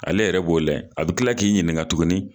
Ale yɛrɛ b'o lahɛ a bi kila k'i ɲininka tuguni